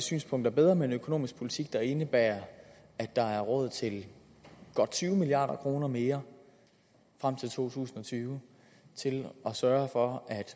synspunkt er bedre med en økonomisk politik der indebærer at der er råd til godt tyve milliard kroner mere frem til to tusind og tyve til at sørge for at